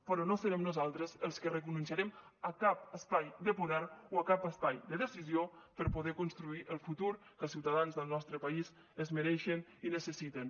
però no serem nosaltres els que renunciarem a cap espai de poder o a cap espai de decisió per poder construir el futur que els ciutadans del nostre país es mereixen i necessiten